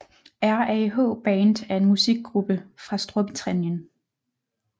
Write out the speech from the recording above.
RAH Band er en musikgruppe fra Storbritannien